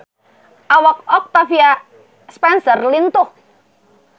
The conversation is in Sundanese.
Awak Octavia Spencer lintuh